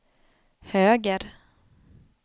höger